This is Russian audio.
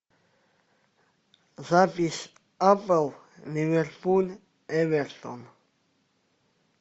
запись апл ливерпуль эвертон